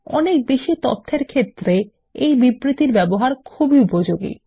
অনেক বেশি তথ্যের ক্ষেত্রে এই বিবৃতির ব্যবহার খুবই উপযোগী